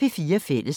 DR P4 Fælles